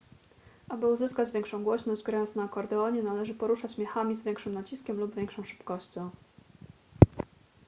aby uzyskać większą głośność grając na akordeonie należy poruszać miechami z większym naciskiem lub większą szybkością